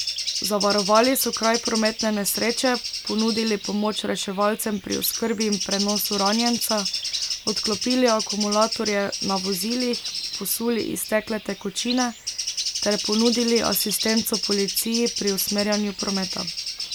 Zavarovali so kraj prometne nesreče, ponudili pomoč reševalcem pri oskrbi in prenosu ranjenca, odklopili akumulatorje na vozilih, posuli iztekle tekočine ter ponudili asistenco policiji pri usmerjanju prometa.